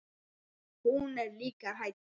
Hún er líka hrædd.